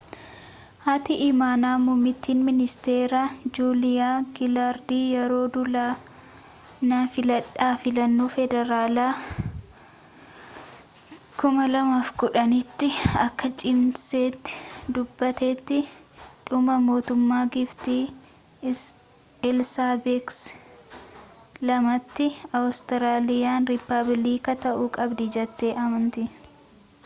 haati imaanaa muummittiin ministeeraa juuliyaa gilaardi yeroo duula na filadhaa filannoo federaalaa 2010 tti akka cimsitee dubbattetti dhuma mootummaa giiftii eelsaabex ii tti awustiraaliyaan rippaabiliika ta'uu qabdi jettee amanti